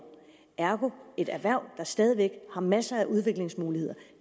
ergo er et erhverv der stadig væk har masser af udviklingsmuligheder at